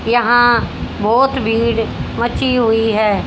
यहां बहुत भीड़ मची हुई है।